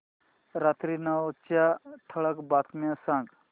रात्री नऊच्या ठळक बातम्या सांग